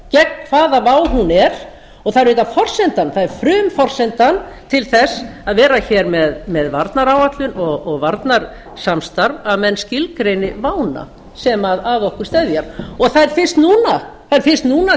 gegn hvaða vá hún er og það er auðvitað forsendan það er frumforsenda til þess að vera hér með varnaráætlun og varnarsamstarf að menn skilgreini vána sem að okkur steðjar það er fyrst núna